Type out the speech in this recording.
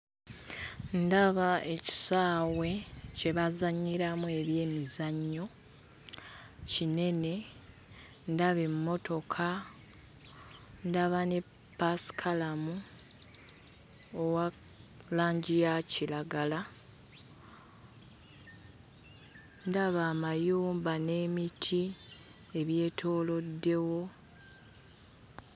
Ndaba ekisaawe kye bazannyiramu ebyemizannyo kinene ndaba emmotoka ndaba ne ppaasikalamu owa langi ya kiragala ndaba amayumba n'emiti ebyetooloddewo.